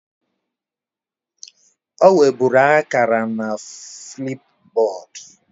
O weburu akara na Flipboard